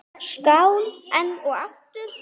Skál enn og aftur!